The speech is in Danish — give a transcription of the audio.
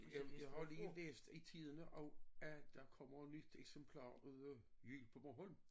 Jamen jeg har lige læst i Tidende også at der kommer nyt eksemplar ud af lyd på Bornholm